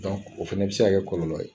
o fɛnɛ be se ka kɛ kɔlɔlɔ ye .